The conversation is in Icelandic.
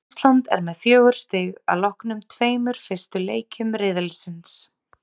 Ísland er með fjögur stig að loknum tveimur fyrstu leikjum riðilsins.